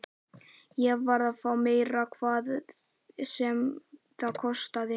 Ég varð að fá meira, hvað sem það kostaði.